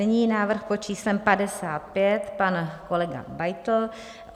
Nyní návrh pod číslem 55, pan kolega Beitl.